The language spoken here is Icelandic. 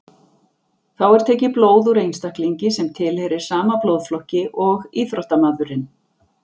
Þá er tekið blóð úr einstaklingi sem tilheyrir sama blóðflokki og íþróttamaðurinn.